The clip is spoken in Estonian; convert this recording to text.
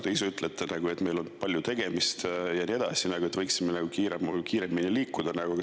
Te ise ütlesite, et meil on täna palju tegemist ja nii edasi, et võiksime kiiremini edasi liikuda.